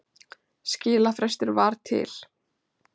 Skilafrestur var til